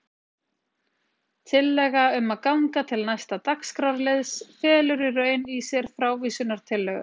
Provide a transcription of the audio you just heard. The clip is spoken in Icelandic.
Tillaga um að ganga til næsta dagskrárliðs felur í raun í sér frávísunartillögu.